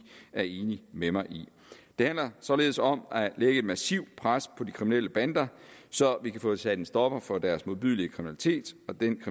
er enige med mig i det handler således om at lægge et massivt pres på de kriminelle bander så vi kan få sat en stopper for deres modbydelige kriminalitet og den